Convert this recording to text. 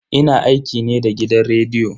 Ina aiki ne da gidan rediyo.